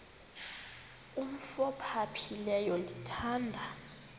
umf ophaphileyo ndithanda